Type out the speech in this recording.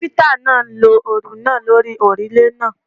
Káfíntà náà ń lo òòlù náà lórí òrùlé náà.